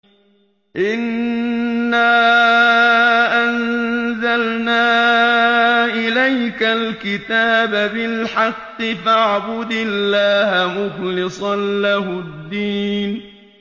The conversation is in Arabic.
إِنَّا أَنزَلْنَا إِلَيْكَ الْكِتَابَ بِالْحَقِّ فَاعْبُدِ اللَّهَ مُخْلِصًا لَّهُ الدِّينَ